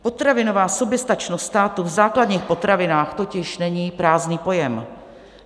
Potravinová soběstačnost státu v základních potravinách totiž není prázdný pojem.